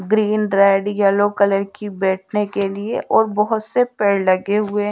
Green red yellow colour की बैठने के लिए और बहुत से पेड़ लगे हुए।